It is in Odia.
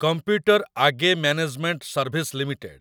computer age management service limited